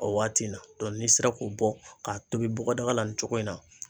O waati in na n'i sera k'o bɔ k'a tobi bɔgɔdaga la nin cogo in na